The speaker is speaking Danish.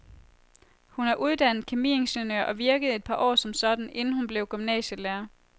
Hun er uddannet kemiingeniør og virkede et par år som sådan, inden hun blev gymnasielærer.